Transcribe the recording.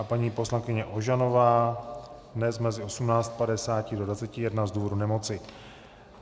A paní poslankyně Ožanová dnes mezi 18.50 do 21.00 z důvodu nemoci.